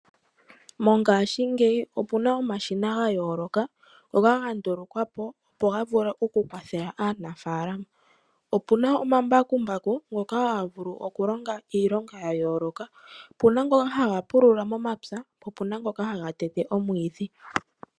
Mongashingeyi opena omashina gayooloka ngoka gandulukwapo opo gakwathele aanafalama. Opena omambakumbaku ngoka haga vulu okulonga iilonga yayooloka. Opena ngoka haga pulula momapya po opena ngoka haga tete omwiidhi.